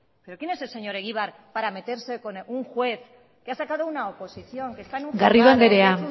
pero quién es el señor egibar para meterse con un juez que ha sacado una oposición que está en un juzgado que ha